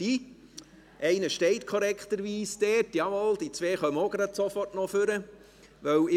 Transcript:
Der eine steht korrekterweise dort, und zwei kommen sofort nach vorne.